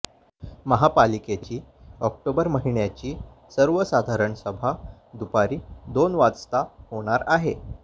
महापालिकेची ऑक्टोबर महिन्याची सर्वसाधारण सभा दुपारी दोन वाजता होणार आहे